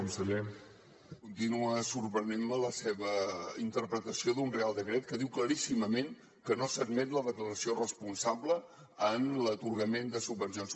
continua sorprenent me la seva interpretació d’un reial decret que diu claríssimament que no s’admet la declaració responsable en l’atorgament de subvencions